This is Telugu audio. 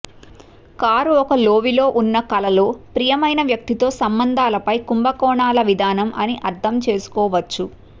కారు ఒక లోవిలో ఉన్న కలలో ప్రియమైన వ్యక్తితో సంబంధాలపై కుంభకోణాల విధానం అని అర్ధం చేసుకోవచ్చు